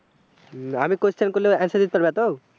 আমি question করলে answer দিতে পারবে তো?